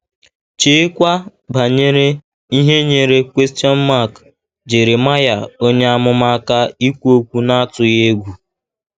Cheekwa banyere ihe nyeere Jeremaya onye amụma aka ikwu okwu n’atụghị egwu.